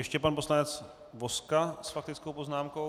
Ještě pan poslanec Vozka s faktickou poznámkou.